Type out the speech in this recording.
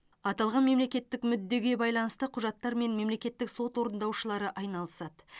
аталған мемлекеттік мүддеге байланысты құжаттармен мемлекеттік сот орындаушылары айналысады